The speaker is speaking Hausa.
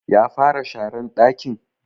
Ya fara sharan ɗakin?